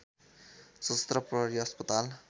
सशस्त्र प्रहरी अस्पताल